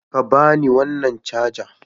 Ka ba ni wannan caja!